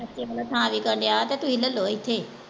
ਥਾਂ ਵਿਕਣ ਦਿਆ ਤੇ ਤੁਸੀਂ ਲੈ ਲੋ ਇਥੇ।